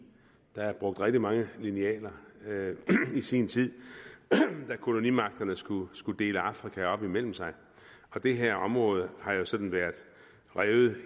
der er brugt rigtig mange linealer i sin tid da kolonimagterne skulle skulle dele afrika op imellem sig og det her område har der jo sådan været revet i